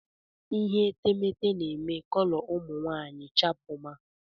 Ihe etemeete na-eme kọlọ ụmụ nwaanyị chapụma.